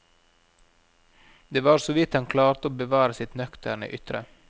Det var såvidt han klarte å bevare sitt nøkterne ytre.